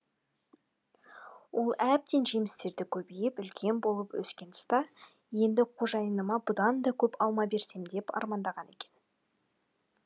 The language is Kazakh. ол әбден жемістері көбейіп үлкен болып өскен тұста енді қожайыныма бұдан да көп алма берсем деп армандаған екен